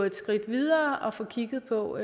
et skridt videre og få kigget på